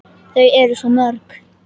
Þau eru svo mörg.